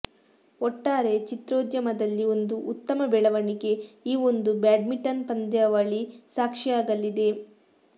ಒಟ್ಟಾರೆ ಚಿತ್ರೋದ್ಯಮದಲ್ಲಿ ಒಂದು ಉತ್ತಮ ಬೆಳವಣಿಗೆ ಈ ಒಂದು ಬ್ಯಾಡ್ಮಿಂಟನ್ ಪಂದ್ಯಾವಳಿ ಸಾಕ್ಷಿಯಾಗಲಿದೆ